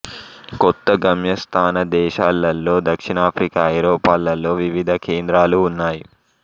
కొత్త గమ్యస్థాన దేశాలలో దక్షిణాఫ్రికా ఐరోపాలలో వివిధ కేంద్రాలు ఉన్నాయి